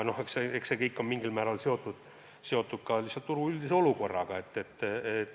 Eks see kõik on mingil määral seotud ka lihtsalt turu üldise olukorraga.